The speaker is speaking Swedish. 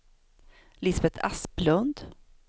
Lisbeth Asplund